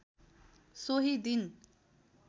सोही दिन